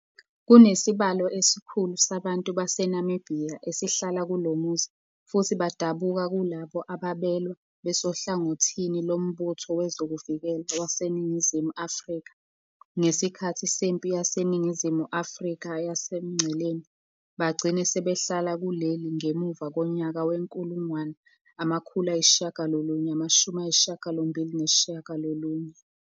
Kunesibalo esikhulu sabantu baseNamibiya esihlala kulomuzi futhi badabuka kulabo ababelwa besohlangothini loMbutho wezokuVikela wasNingizimu Afrika ngesikhathi seMpi yaseNingizimu Afrika yaseMgceleni bagcina sebehlala kuleli ngemuva konyaka we-1989.